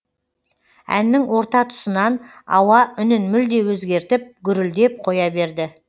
әннің орта тұсынан ауа үнін мүлде өзгертіп гүрілдеп қоя берді